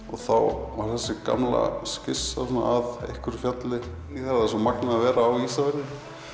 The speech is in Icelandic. og þá var þessi gamla skissa af einhverju fjalli það er svo magnað að vera á Ísafirði